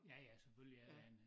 Ja ja selvfølgelig er der en